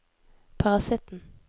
parasitten